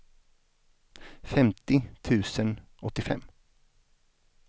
femtio tusen åttiofem